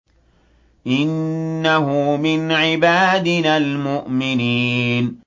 إِنَّهُ مِنْ عِبَادِنَا الْمُؤْمِنِينَ